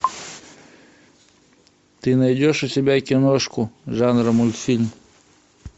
ты найдешь у себя киношку жанра мультфильм